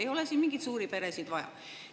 Ei ole meil siin mingeid suuri peresid vaja.